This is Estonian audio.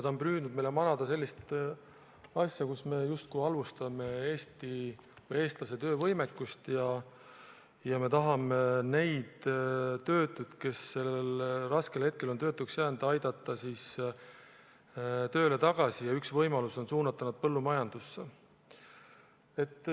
Ta on püüdnud meile manada sellist asja, nagu me justkui halvustame eestlase töövõimekust ja kui me tahame neid töötuid, kes sellel raskel hetkel on töötuks jäänud, aidata tööle tagasi, siis üks võimalusi on suunata nad põllumajandusse.